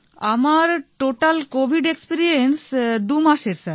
আমার total covid experience দু মাসের স্যার